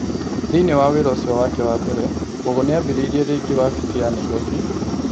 Thĩinĩ wa wĩra ũcio wake wa mbere, Mbogo nĩ ambĩrĩirie rĩngĩ wabici ya Nairobi ,